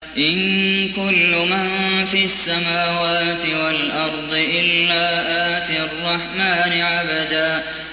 إِن كُلُّ مَن فِي السَّمَاوَاتِ وَالْأَرْضِ إِلَّا آتِي الرَّحْمَٰنِ عَبْدًا